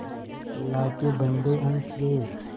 अल्लाह के बन्दे हंस दे